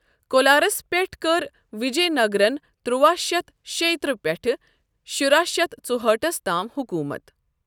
کولارَس پٮ۪ٹھ کٔر وِجےنَگرَن ترٚواہ شتھ شییِہ ترٚہ پٮ۪ٹھہٕ شُراہ شتھ ژوہٲٹھس تام حُکوٗمَت ۔